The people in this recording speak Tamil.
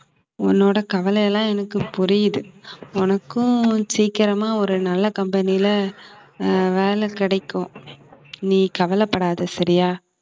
உன்னோட கவலை எல்லாம் எனக்கு புரியுது உனக்கும் சீக்கிரமா ஒரு நல்ல company ல அஹ் வேலை கிடைக்கும் நீ கவலைப்படாத சரியா